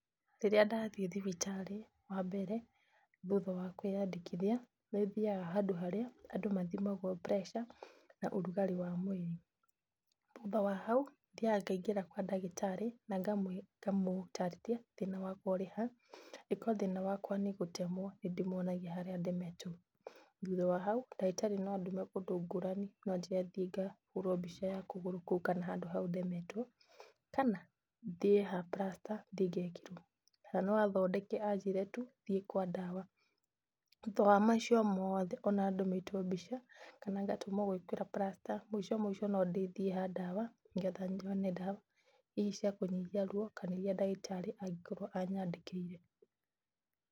Rĩrĩa ndathiĩ thibitarĩ, wambere thutha wa kwĩyandĩkithia, nĩthiaga handũ harĩa andũ mathimagwo pressure na ũrugarĩ wa mwĩrĩ. Thutha wa hau, thiaga ngaingĩra kwa ndagĩtarĩ na ngamũtarĩria thĩna wakwa ũrĩ ha. Ikorwo thĩna wakwa nĩ gũtemwo, nĩndĩmwonagia harĩa ndemetwo. Thutha wa hau, ndagĩtarĩ no andũme kũndũ ngũrani, no anjĩre thiĩ ngahũrũo mbica ya kũgũrũ kũu kana handũ hau ndemetwo, kana thiĩ ha plaster, thiĩ ngekĩrwo. Na no athondeke anjĩre tu thiĩ kwa ndawa. Thutha wa macio mothe ona ndũmĩtwo mbica kana ngatũmwo gwĩkĩrwo plaster mũico mũico no ndĩthiĩ ha ndawa, nĩgetha nyone ndawa, ici cia kũnyihia ruo kana iria ndagĩtarĩ angĩkorwo anyandĩkĩire.